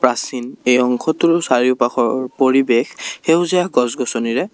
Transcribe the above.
প্ৰাচীন এই অংশটোৰ চাৰিওপাশৰ পৰিৱেশ সেউজীয়া গছ গছনিৰে--